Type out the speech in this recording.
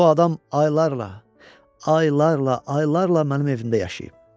Bu adam aylarla, aylarla, aylarla mənim evimdə yaşayıb.